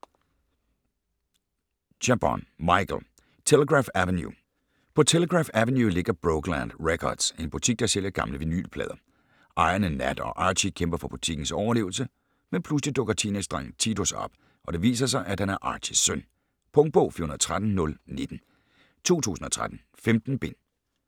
Chabon, Michael: Telegraph Avenue På Telegraph Avenue ligger Brokeland Records - en butik, der sælger gamle vinylplader. Ejerne Nat og Archy kæmper for butikkens overlevelse, men pludselig dukker teenagedrengen Titus op, og det viser sig, at han er Archys søn. Punktbog 413019 2013. 15 bind.